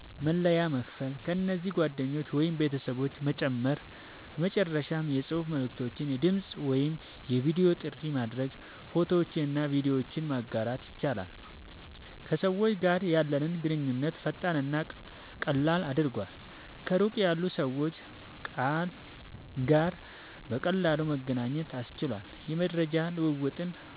መለያ መክፈት፣ ከዚያም ጓደኞችን ወይም ቤተሰቦችን መጨመር፣ በመጨረሻም የጽሑፍ መልዕክት፣ የድምጽ ወይም የቪዲዮ ጥሪ ማድረግ፣ ፎቶዎችንና ቪዲዮዎችን ማጋራት ይችላሉ። ከሰዎች ጋር ያለንን ግንኙነት ፈጣንና ቀላል አድርጓል፣ ከሩቅ ያሉ ሰዎች ጋር በቀላሉ መገናኘት አስችሏል፣ የመረጃ ልዉዉጥን